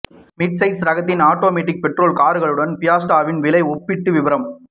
midsize ரகத்தில் automatic petrol கார்களுடன் ஃபியஸ்ட்டாவின் விலை ஒப்பீட்டு விபரம்